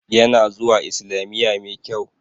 Ya na zuwa islamiya mai kyau